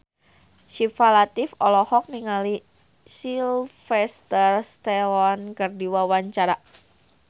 Syifa Latief olohok ningali Sylvester Stallone keur diwawancara